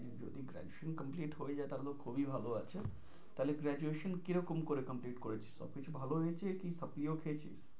যদি graduation complete হয়ে যায় তাহলে তো খুবই ভালো আছে। তাহলে graduation কিরকম করে complete করেছো সব কিছু ভালো হয়েছে কি supply ও খেয়েছিস?